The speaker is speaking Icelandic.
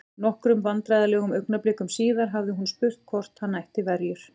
Nokkrum vandræðalegum augnablikum síðar hafði hún spurt hvort hann ætti verjur?